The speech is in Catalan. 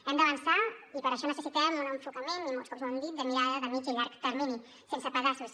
hem d’avançar i per això necessitem un enfocament i molts cops ho hem dit de mirada de mitjà i llarg termini sense pedaços